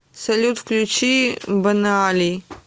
салют включи бонеали